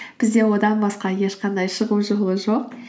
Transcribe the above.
бізде одан басқа ешқандай шығу жолы жоқ